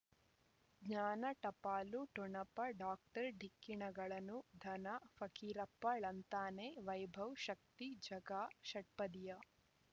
ಜ್ಞಾನ ಟಪಾಲು ಠೊಣಪ ಡಾಕ್ಟರ್ ಢಿಕ್ಕಿ ಣಗಳನು ಧನ ಫಕೀರಪ್ಪ ಳಂತಾನೆ ವೈಭವ್ ಶಕ್ತಿ ಝಗಾ ಷಟ್ಪದಿಯ